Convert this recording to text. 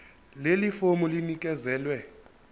leli fomu linikezelwe